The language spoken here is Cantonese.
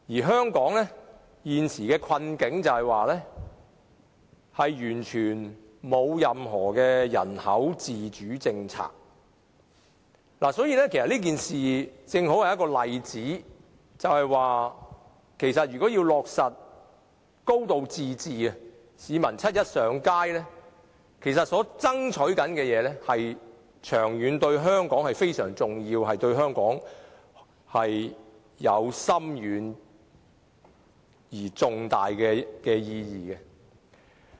香港現時的困境，在於我們完全沒有自主的人口政策，所以，市民七一上街爭取落實"高度自治"，其實對香港的長遠發展至為重要，亦對香港有深遠而重大的意義。